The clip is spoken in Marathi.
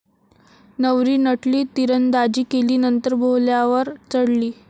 नवरी नटली, तिरंदाजी केली नंतर बोहल्यावर चढली!